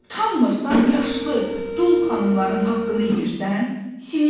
Utanmırsan yaşlı, dul xanımların haqqını yeyirsən, senyor?